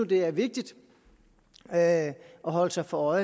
det er vigtigt at holde sig for